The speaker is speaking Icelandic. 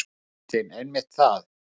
Kristín: Einmitt það.